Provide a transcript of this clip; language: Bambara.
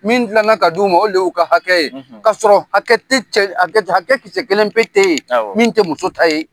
Min tilala ka d'u ma o y'u ka hakɛ ye kasɔrɔ hakɛ kisɛ kelen tɛ ye min tɛ muso ta ye